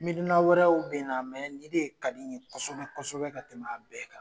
Miina wɛrɛw be in na mɛ nin de ka di n ye kosɛbɛ kosɛbɛ ka tɛmɛ a bɛɛ kan